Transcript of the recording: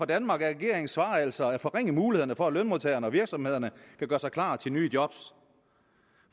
danmark er regeringens svar altså at forringe mulighederne for at lønmodtagerne og virksomhederne kan gøre sig klar til nye job